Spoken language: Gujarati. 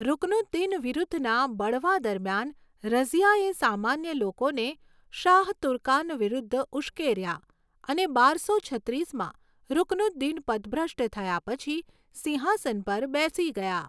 રુકનુદ્દીન વિરુદ્ધના બળવા દરમિયાન, રઝિયાએ સામાન્ય લોકોને શાહ તુર્કાન વિરુદ્ધ ઉશ્કેર્યા, અને બારસો છત્રીસમાં રુકનુદ્દીન પદભ્રષ્ટ થયા પછી સિંહાસન પર બેસી ગયાં.